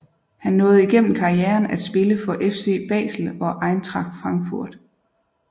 Han nåede igennem karrieren at spille for FC Basel og Eintracht Frankfurt